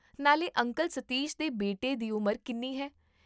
ਨਾਲੇ ਅੰਕਲ ਸਤੀਸ਼ ਦੇ ਬੇਟੇ ਦੀ ਉਮਰ ਕਿੰਨੀ ਹੈ?